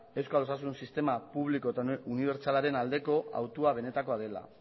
euskal osasun sistema publiko eta unibertsalaren aldeko hautua benetakoa dela